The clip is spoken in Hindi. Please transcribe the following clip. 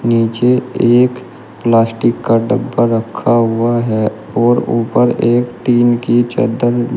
नीचे एक प्लास्टिक का डब्बा रखा हुआ है और ऊपर एक टिन की चद्दर --